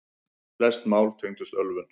Flest mál tengdust ölvun.